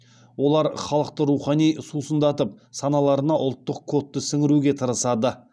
олар халықты рухани сусындатып саналарына ұлттық кодты сіңіруге тырысады